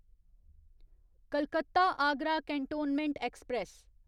Calcutta Agra cantonment express